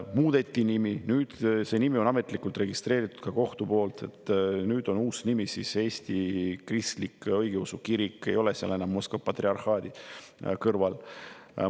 Nimi muudeti ära, nüüd on see nimi ametlikult registreeritud ka kohtu poolt ja see uus nimi on Eesti Kristlik Õigeusu Kirik, ei ole seal enam Moskva patriarhaati.